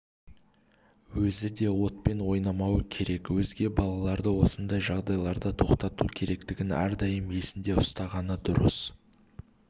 өзі де отпен ойнамауы керек өзге балаларды осындай жағдайда тоқтату керектігін әрдайым есінде ұстағаны дұрыс